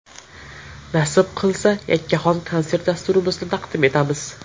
Nasib qilsa yakkaxon konsert dasturimizni taqdim etamiz.